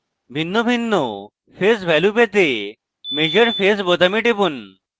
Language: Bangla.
ভিন্নভিন্ন phase ভ্যালু পেতে measure phase বোতামে টিপুন